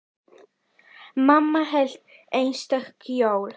Mamma hélt einstök jól.